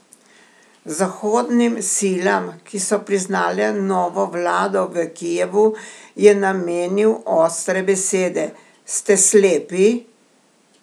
Zahodnim silam, ki so priznale novo vlado v Kijevu, je namenil ostre besede: "Ste slepi?